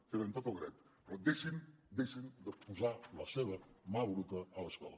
hi tenen tot el dret però deixin deixin de posar la seva mà bruta a l’escola